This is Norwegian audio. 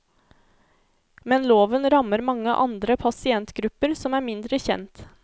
Men loven rammer mange andre pasientgrupper som er mindre kjent.